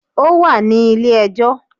Ó wà nílé ẹ jọ́